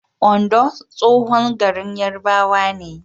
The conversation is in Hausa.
Ondo tsohon garin Yarbawa ne.